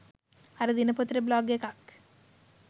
අර දිනපොතට බ්ලොග් එකක්.